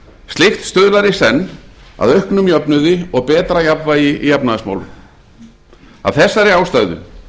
slíkt stuðlar í senn að auknum jöfnuði og betra jafnvægi í efnahagsmálum af þegar ástæðu